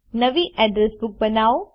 નવી address book બનાવો